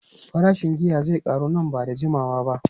Farashin giya zai karu nan ba da jimawa ba.